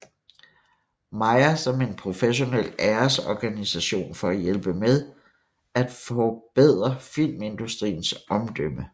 Mayer som en professionel æresorganisation for at hjælpe med at forbedre filmindustriens omdømme